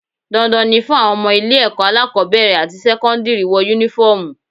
Dandan ni fún àwọn ọmọ ilé ẹ̀kọ́ alákọ́bẹ̀rẹ̀ àti sẹ́kọ́ndírì wọ Únífọ́ọ̀mù